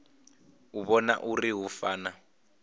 u vhona uri hu fana